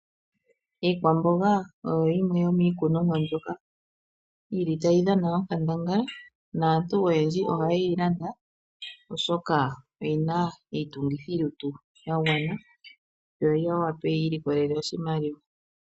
Iikwamboga oyo yimwe yomiikunomwa mbyoka yi li tayi dhana onkandangala, naantu oyendji ohaye yi landa oshoka oyina iitungithilutu ya gwana, yo ya wape yi ilikolele oshimaliwa.